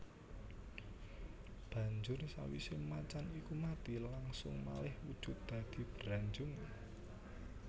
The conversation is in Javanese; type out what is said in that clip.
Banjur sawisé macan iku mati langsung malih wujud dadi Branjung